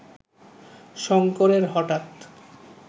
শঙ্করের হঠাৎ